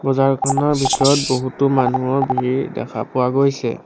বজাৰখনৰ ভিতৰত বহুতো মানুহৰ ভিৰ দেখা পোৱা গৈছে।